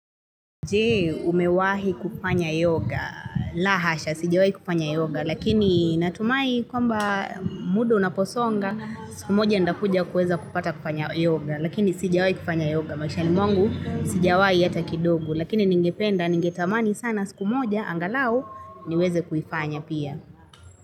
Je umewahi kufanya yoga, la hasha, sijawahi kufanya yoga, lakini natumai kwamba muda unaposonga, siku moja ntakuja kuweza kupata kufanya yoga, lakini sijawahi kufanya yoga, maishani mwangu sijawahi ata kidogo, lakini ningependa ningetamani sana siku moja, angalau niweze kufanya pia.